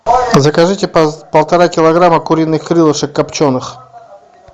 закажите полтора килограмма куриных крылышек копченых